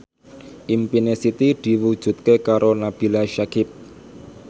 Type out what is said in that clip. impine Siti diwujudke karo Nabila Syakieb